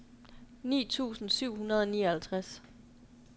ni tusind syv hundrede og nioghalvtreds